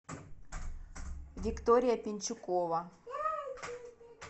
виктория пенчукова